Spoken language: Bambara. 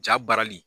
Ja barili